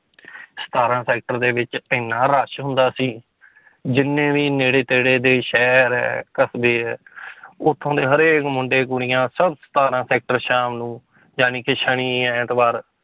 ਸਤਾਰਾਂ sector ਦੇ ਵਿੱਚ ਇੰਨਾ rush ਹੁੰਦਾ ਸੀ ਜਿੰਨੇ ਵੀ ਨੇੜੇ ਤੇੜੇ ਦੇ ਸ਼ਹਿਰ ਹੈ ਕਸ਼ਬੇ ਹੈ ਉੱਥੋਂ ਦੇ ਹਰੇਕ ਮੁੰਡੇ ਕੁੜੀਆਂ ਸਭ ਸਤਾਰਾਂ sector ਸ਼ਾਮ ਨੂੰ ਜਾਣੀ ਕਿ ਸ਼ਨੀ ਐਤਵਾਰ